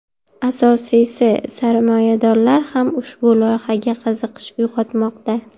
Asosiysi – sarmoyadorlar ham ushbu loyihaga qiziqish uyg‘otmoqda.